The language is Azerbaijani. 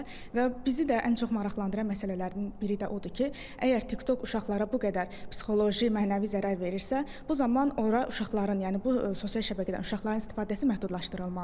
Və bizi də ən çox maraqlandıran məsələlərdən biri də odur ki, əgər TikTok uşaqlara bu qədər psixoloji, mənəvi zərər verirsə, bu zaman ora uşaqların, yəni bu sosial şəbəkədən uşaqların istifadəsi məhdudlaşdırılmalıdır.